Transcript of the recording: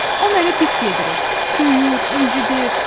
O məni pis yedirir, döyür, incididir."